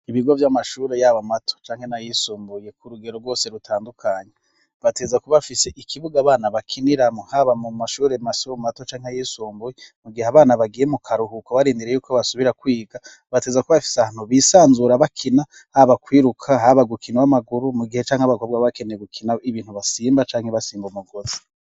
Ibigo vy'amashuri yaba mato canke nayisumbuye ku rugero rwose rutandukanye bategerezwa kuba bafise ikibuga abana bakiniramwo haba mu mashuri mato canke ayisumbuye mu gihe abana bagiye mu karuhuko barindiriye yuko basubira kwiga bategezwa kuba bafise ahantu bisanzura bakina haba kwiruka haba gukina w'amaguru mu gihe canke abakobwa baba bakeneye gukina ibintu basimba canke basimba umugozi.